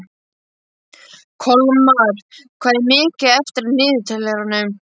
Kolmar, hvað er mikið eftir af niðurteljaranum?